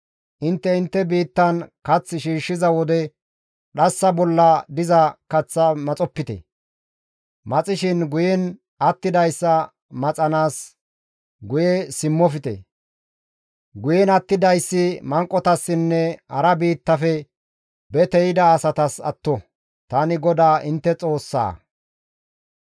Intte intte biittan kath shiishshiza wode dhassa bolla diza kaththaa maxopite; maxishin guyen attidayssa maxanaas guye simmofte; guyen attidayssi manqotassinne hara biittafe bete yida asatas atto; tani GODAA intte Xoossaa.»